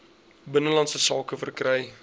binnelandse sake verkry